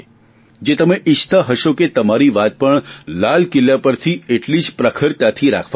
જે તમે ઇચ્છતા હશો કે તમારી વાત પણ લાલકિલ્લા પરથી એટલીજ પ્રખરતાથી રાખવામાં આવે